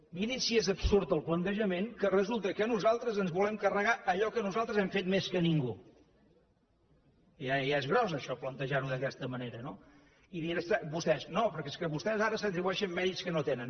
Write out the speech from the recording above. mirin si és absurd el plantejament que resulta que nosaltres ens volem carregar allò que nosaltres hem fet més que ningú que ja és gros això plantejar ho d’aquesta manera no i diuen vostès no perquè vostès ara s’atribueixen mèrits que no tenen